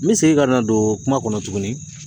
N bɛ segin ka na don kuma kɔnɔ tuguni.